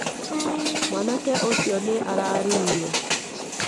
Mwanake ũcio nĩ araruire.